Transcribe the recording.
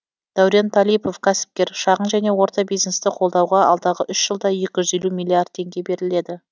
дәурен талипов кәсіпкер шағын және орта бизнесті қолдауға алдағы үш жылда екі жүз миллиард теңге беріледі